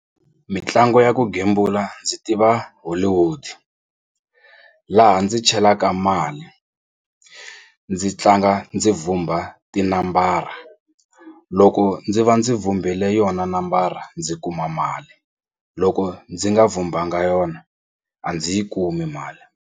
Mitlangu ya ku gembula ndzi tiva Hollywood laha ndzi chelaka mali ndzi tlanga ndzi vhumba tinambara loko ndzi va ndzi vhumbile yona nambara ndzi kuma mali loko ndzi nga vhumbhanga yona a ndzi yi kumi mali.